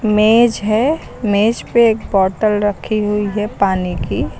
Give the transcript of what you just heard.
मेज है मेज पे एक बॉटल रखी हुई है पानी की।